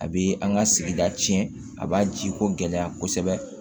A bɛ an ka sigida tiɲɛ a b'a ji ko gɛlɛya kosɛbɛ